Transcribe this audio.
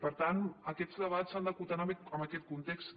per tant aquests debats s’han d’acotar en aquest context